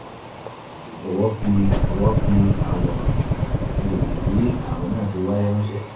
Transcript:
jọ̀wọ́ fi jọ̀wọ́ fi àwòrán àgbègbè tí ààrùn náà ti wáyé ránṣẹ́